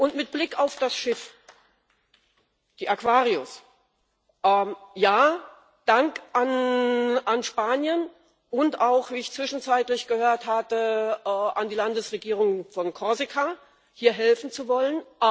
Und mit Blick auf das Schiff, die Aquarius Ja, Dank an Spanien und auch wie ich zwischenzeitlich gehört hatte an die Landesregierung von Korsika, hier helfen zu wollen.